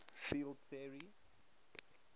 field theory